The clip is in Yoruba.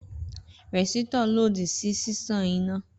Rẹ̀sítọ̀ lòdì ṣí siṣan iná